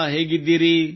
ನೀವು ಹೇಗಿದ್ದೀರಿ